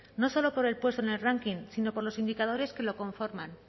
no solo por el puesto en el ranking sino por los indicadores que lo conforman